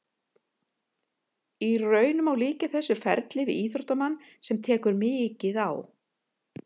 Í raun má líkja þessu ferli við íþróttamann sem tekur mikið á.